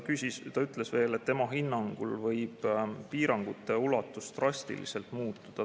Ta ütles veel, et tema hinnangul võib piirangute ulatus drastiliselt muutuda.